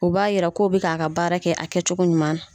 U b'a yira ko' bɛ k'a ka baara kɛ a kɛ cogo ɲuman na.